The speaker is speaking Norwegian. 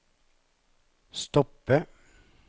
stoppe